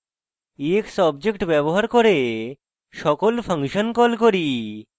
ex object ব্যবহার করে সকল ফাংশন call করি